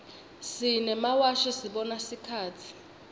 simemawashi sibona sikhatsi